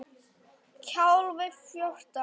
KAFLI FJÓRTÁN